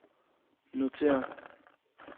notér